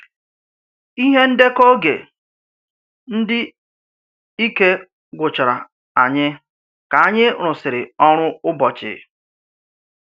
Ìhè ndèkọ oge, ndị ike gwụchàrà ányị̀ ka ányị̀ rụsịrị òrụ Ụ́bọ̀chí?